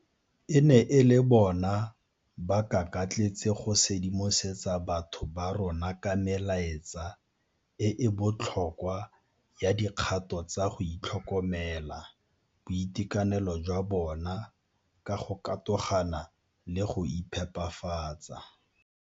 E ne e le bona ba kakatletse go sedimosetsa batho ba rona ka melaetsa e e botlhokwa ya dikgato tsa go tlhokomela boitekanelo jwa bona ka go katogana le go iphepafatsa.